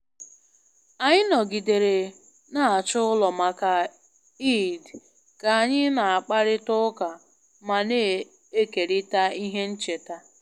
Anyị nọgidere na-achọ ụlọ maka Eid ka anyị na-akparịta ụka ma na-ekerịta ihe ncheta